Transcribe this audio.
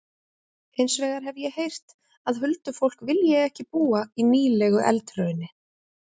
Hins vegar hef ég heyrt að huldufólk vilji ekki búa í nýlegu eldhrauni.